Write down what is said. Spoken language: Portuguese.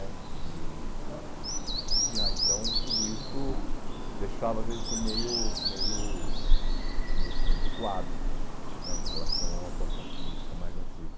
né e e aí, então, tudo isso deixava a gente meio meio, vamos dizer assim, recuado né em relação a uma atuação política mais ativa.